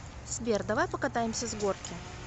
сбер давай покатаемся с горки